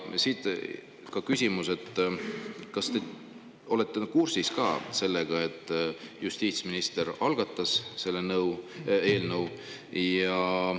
Siit ka küsimus: kas olete kursis sellega, et justiitsminister algatas selle eelnõu?